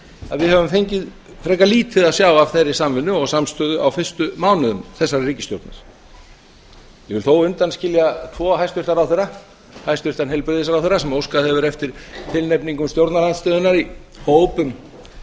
að við höfum fengið frekar lítið að sjá af þeirri samvinnu og samstöðu á fyrstu mánuðum þessarar ríkisstjórnar ég vil þó undanskilja tvo hæstvirta ráðherra hæstvirtan heilbrigðisráðherra sem óskað hefur eftir tilnefningum stjórnarandstöðunnar í hóp um